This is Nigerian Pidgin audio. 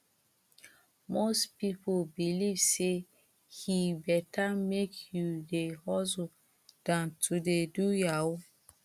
most people believe say he better make you dey hustle than to dey do yahoo